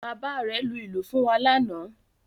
Bàbá rẹ̀ lu ìlù fún wa lánàá